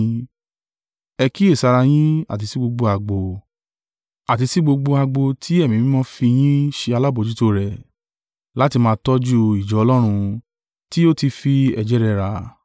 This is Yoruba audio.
Ẹ kíyèsára yin, àti sí gbogbo agbo tí Ẹ̀mí Mímọ́ fi yín ṣe alábojútó rẹ̀, láti máa tọ́jú ìjọ Ọlọ́run, tí ó tí fi ẹ̀jẹ̀ rẹ̀ rà.